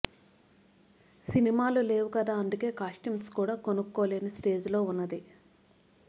సినిమాలు లేవు కదా అందుకే కాస్ట్యూమ్స్ కూడా కొనుక్కోలేని స్టేజ్ లో ఉన్నది